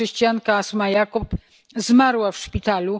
Chrześcijanka Asma Yacoob zmarła w szpitalu.